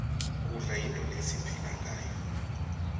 kudla yinfo lesiphila ngayo